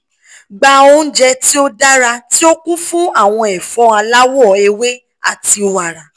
gba ounjẹ ti o dara ti o kun fun awọn ẹfọ alawọ ewe ati wara